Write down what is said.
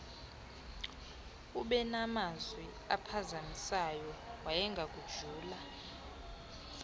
ubenamazwi amphazamisayo wayengakujula